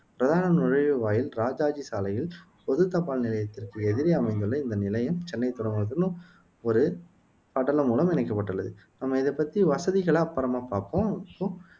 பிரதான நுழைவுவாயில் இராஜாஜி சாலையில் பொது தபால் நிலையத்திற்கு எதிரே அமைந்துள்ளது இந்த நிலையம் சென்னை துறைமுகத்துடன் ஒரு படலம் மூலம் இணைக்கப்பட்டுள்ளது நம்ம இத பத்தி வசதிகளாம் அப்பறமா பாப்போம் இப்போ